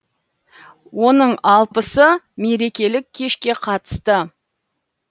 оның алпысы мерекелік кешке қатысты